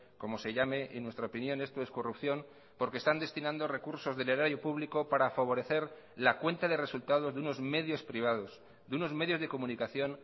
como se llame en nuestra opinión esto es corrupción porque están destinando recursos del erario público para favorecer la cuenta de resultados de unos medios privados de unos medios de comunicación